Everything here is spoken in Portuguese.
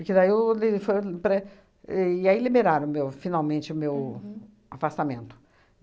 Porque daí foi o li foi pré. E, aí, liberaram meu, finalmente, o meu afastamento.